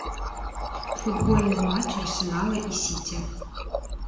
футбольный матч арсенала и сити